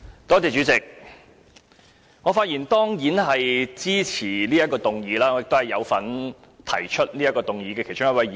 主席，我當然是發言支持此項議案，我亦是提出議案的其中一位議員。